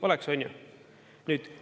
Oleks, on ju?